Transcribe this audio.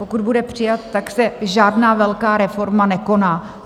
Pokud bude přijat, tak se žádná velká reforma nekoná.